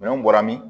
Minɛnw bɔra min